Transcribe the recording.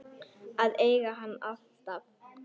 Að eiga hann alltaf.